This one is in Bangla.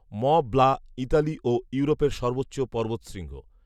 মঁ ব্লা ইতালি ও ইউরোপের সর্বোচ্চ পর্বতশৃঙ্গ